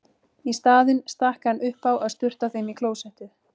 Í staðinn stakk hann upp á að sturta þeim í klósettið.